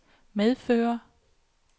medføre